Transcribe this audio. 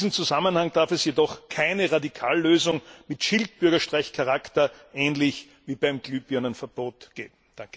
In diesem Zusammenhang darf es jedoch keine Radikallösung mit Schildbürgerstreichcharakter ähnlich wie beim Glühbirnenverbot geben.